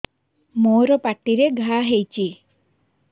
ମୋର ପାଟିରେ ଘା ହେଇଚି